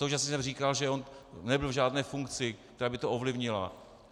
Současně jsem říkal, že on nebyl v žádné funkci, která by to ovlivnila.